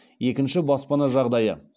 екінші баспана жағдайы